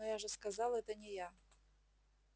но я же сказал это не я